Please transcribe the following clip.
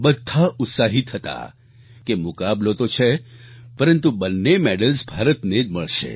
બધા ઉત્સાહિત હતા કે મુકાબલો તો છે પરંતુ બંને મેડલ્સ ભારતને જ મળશે